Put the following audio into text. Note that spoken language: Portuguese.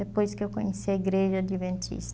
Depois que eu conheci a Igreja Adventista.